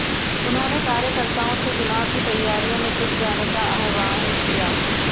उन्होंने कार्यकर्ताओं से चुनाव की तैयारियों में जुट जाने का आह्वान किया